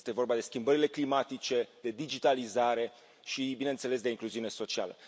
Este vorba de schimbările climatice, de digitalizare și, bineînțeles, de incluziunea socială.